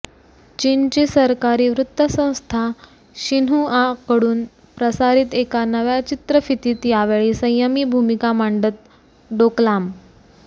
चीनची सरकारी वृत्तसंस्था शिन्हुआकडून प्रसारित एका नव्या चित्रफितीत यावेळी संयमी भूमिका मांडत डोकलाम